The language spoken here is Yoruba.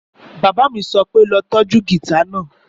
Bàbá mi sọ pé lọ tọ́jú gìtá náà!